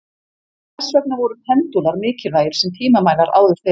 Þess vegna voru pendúlar mikilvægir sem tímamælar áður fyrr.